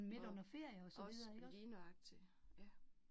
Og, også lige nøjagtig, ja